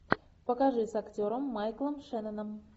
покажи с актером майклом шенноном